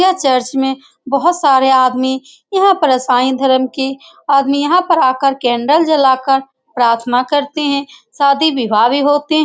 यह चर्च में बहुत सारे आदमी यहाँ पर इसाई धर्म के आदमी यहाँ पर आकर कैंडल जलाकर प्राथना करते हैं शादी विवाह भी होते है ।